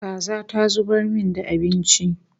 Kaza ta zubar min da abinci